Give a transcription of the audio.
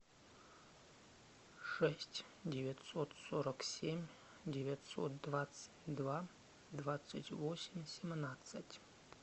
шесть девятьсот сорок семь девятьсот двадцать два двадцать восемь семнадцать